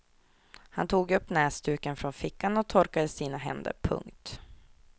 Han tog upp näsduken från fickan och torkade sina händer. punkt